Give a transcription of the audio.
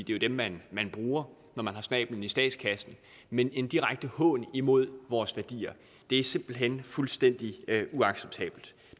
jo dem man bruger når man har snabelen i statskassen men en direkte hån imod vores værdier det er simpelt hen fuldstændig uacceptabelt